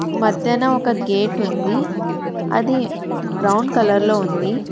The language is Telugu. మధ్యన ఒక గేట్ ఉంది అది బ్రౌన్ కలర్ లో ఉంది.